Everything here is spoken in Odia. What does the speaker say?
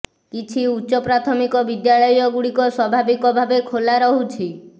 କିଛି ଉଚ୍ଚ ପ୍ରାଥମିକ ବିଦ୍ୟାଳୟ ଗୁଡ଼ିକ ସ୍ବାଭାବିକ ଭାବେ ଖୋଲା ରହୁଛି